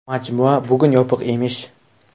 Majmua bugun yopiq emish”.